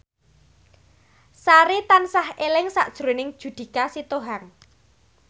Sari tansah eling sakjroning Judika Sitohang